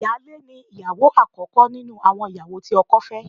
Ìyáálé ni ìyàwó àkọ́kọ́ nínú àwọn ìyàwó tí ọkọ fẹ́